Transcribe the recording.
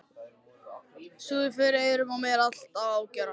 Suðið fyrir eyrunum á mér er alltaf að ágerast.